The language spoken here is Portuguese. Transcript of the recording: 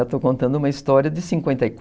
Estou contando uma história de cinquenta e